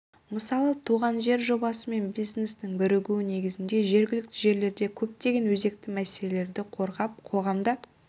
мысалы туған жер жобасы мен бизнестің бірігіуі негізінде жергілікті жерлерде көптеген өзекті мәселелерді қозғап қоғамда